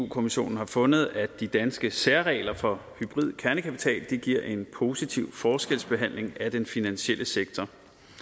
kommissionen har fundet at de danske særregler for hybrid kernekapital giver en positiv forskelsbehandling af den finansielle sektor